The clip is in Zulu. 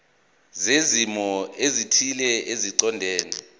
zezimo ezithile eziqondene